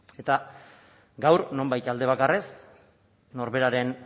eta gaur nonbait alde bakarrez norberaren